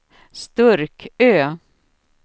Sturkö